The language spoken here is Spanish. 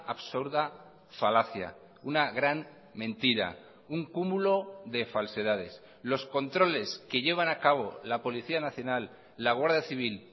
absurda falacia una gran mentira un cúmulo de falsedades los controles que llevan a cabo la policía nacional la guardia civil